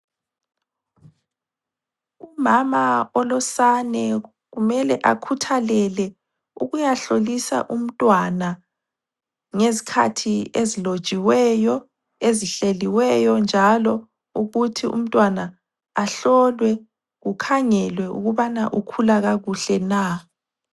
Umama olosane kumele akhuthalele ukuyahlolisa umntwana ngezikhathi ezilotshiweyo, ezihleliweyo njalo ukuthi umntwana ahlolwe kukhangelwe ukubana ukhula kakuhle na.